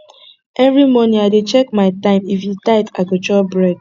every morning i dey check my time if e tight i go chop bread